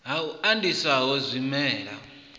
ha u andiswa ho zwimela